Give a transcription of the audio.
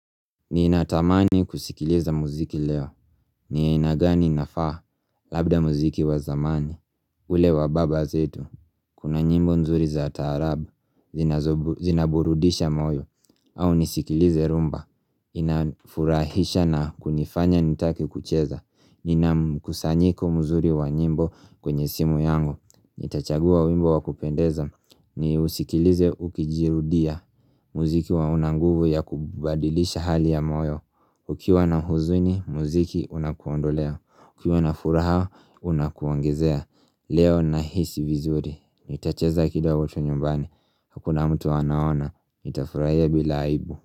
Ninatamani kusikiliza muziki leo ni aina gani inafaa? Labda muziki wa zamani ule wa baba zetu. Kuna nyimbo nzuri za taarabu Zinaburudisha moyo au nisikilize rhumba Inafurahisha na kunifanya nitake kucheza. Nina mkusanyiko mzuri wa nyimbo kwenye simu yangu, nitachagua wimbo wa kupendeza niusikilize ukijirudia muziki huwa una nguvu ya kubadilisha hali ya moyo Ukiwa na huzuni, muziki unakuondolea, ukiwa na furaha, unakuongezea Leo nahisi vizuri, nitacheza kidogo tu nyumbani, hakuna mtu anaona, nitafurahia bila aibu.